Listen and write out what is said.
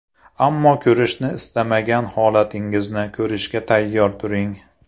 Ammo ko‘rishni istamagan holatingizni ko‘rishga tayyor turing.